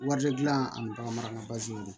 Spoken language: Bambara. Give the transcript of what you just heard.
Wari gilan ani bagan marala